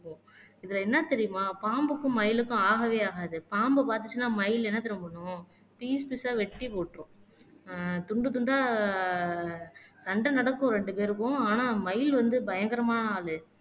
இதுல என்ன தெரியுமா பாம்புக்கும் மயிலுக்கும் ஆகவே ஆகாது பாம்பு பாத்துச்சுன்னா மயில் என்ன தெரியுமா பண்ணும் பீஸ் பீஸ்ஸ வெட்டி போட்டுரும் ஆஹ் துண்டு துண்டா சண்டை நடக்கும் ரெண்டு பேருக்கும் ஆனா மயில் வந்து பயங்கரமான அது